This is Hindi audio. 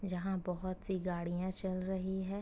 यहाँ बोहोत सी गाड़ियां चल रही हैं।